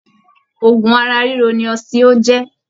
Òògùn ara riro ni ositio jẹ.